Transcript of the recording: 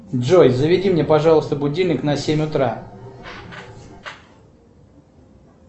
джой заведи мне пожалуйста будильник на семь утра